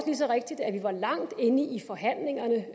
lige så rigtigt at vi var langt inde i forhandlingerne